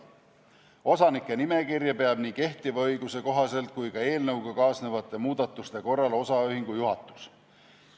Osanike nimekirja peab nii kehtiva õiguse kohaselt kui ka eelnõuga kaasnevate muudatuste korral osaühingu juhatus.